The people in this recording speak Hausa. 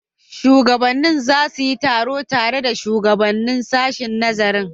Shugabannin za su yi taro tare da shugaban sashen nazarin.